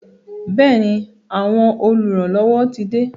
Bẹẹni, àwọn oluranlowo tí de